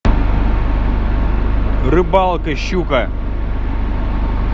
рыбалка щука